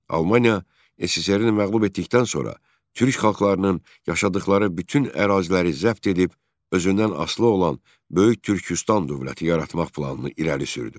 Almaniya SSRİ-ni məğlub etdikdən sonra Türk xalqlarının yaşadıqları bütün əraziləri zəbt edib özündən asılı olan Böyük Türküstan dövləti yaratmaq planını irəli sürdü.